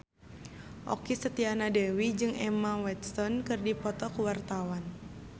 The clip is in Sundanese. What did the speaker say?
Okky Setiana Dewi jeung Emma Watson keur dipoto ku wartawan